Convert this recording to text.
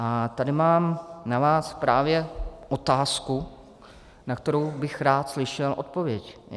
A tady mám na vás právě otázku, na kterou bych rád slyšel odpověď.